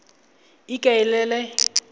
ikaelele